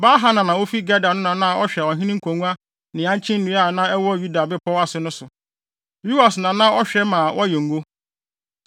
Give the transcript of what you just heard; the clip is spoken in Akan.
Baal-Hanan a ofi Geder no na na ɔhwɛ ɔhene ngonnua ne ankye nnua a na ɛwɔ Yuda bepɔw ase no so. Yoas na na ɔhwɛ ma wɔyɛ ngo.